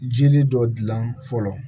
Jiri dɔ dilan fɔlɔ